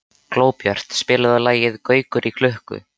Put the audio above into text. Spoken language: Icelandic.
Glóbjört, spilaðu lagið „Gaukur í klukku“.